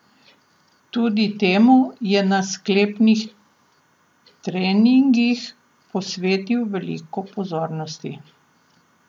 Tudi temu je na sklepnih treningih posvetil veliko pozornosti.